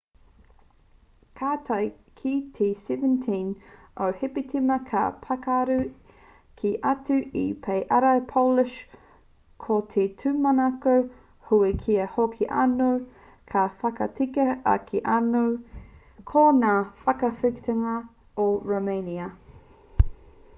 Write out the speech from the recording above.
ka tae ki te 17 o hepetema ka pakaru kē atu te pae ārai polish ko te tūmanako nui kia hoki anō ka whakatika ake anō ki ngā whakawhitinga o rōmania